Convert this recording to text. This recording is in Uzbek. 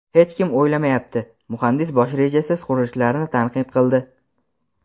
hech kim o‘ylamayapti — muhandis bosh rejasiz qurilishlarni tanqid qildi.